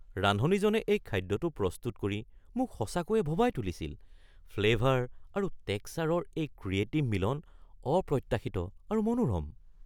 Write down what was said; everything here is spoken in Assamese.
ৰান্ধনীজনে এই খাদ্যটো প্ৰস্তুত কৰি মোক সঁচাকৈয়ে ভবাই তুলিছিল; ফ্লেভাৰ আৰু টেক্সাৰৰ এই ক্ৰিয়েটিভ মিলন অপ্ৰত্যাশিত আৰু মনোৰম।